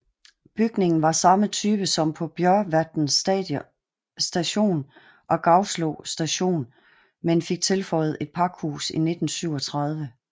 Bygningen var samme type som på Bjorvatn Station og Gauslå Station men fik tilføjet et pakhus i 1937